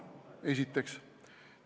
Seda esiteks.